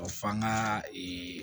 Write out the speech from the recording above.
f'an ga ee